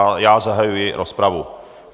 A já zahajuji rozpravu.